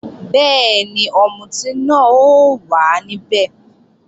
Bẹ́ẹ̀ni, ọ̀mùtí náà ó wà níbẹ̀